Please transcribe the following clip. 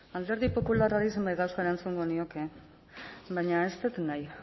alderdi popularrari zenbait gauza erantzungo nioke baina ez dut nahi